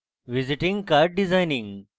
visiting card designing